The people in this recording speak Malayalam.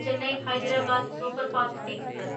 Chennai Hyderabad superfast express